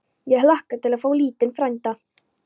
Ég hlakka til að fá lítinn frænda.